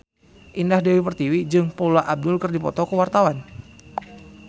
Indah Dewi Pertiwi jeung Paula Abdul keur dipoto ku wartawan